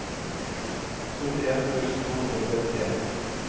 syttien tusen to hundre og trettien